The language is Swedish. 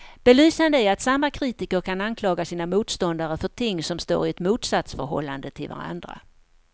Belysande är att samma kritiker kan anklaga sina motståndare för ting som står i ett motsatsförhållande till varandra.